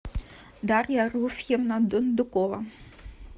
дарья руфьевна дондукова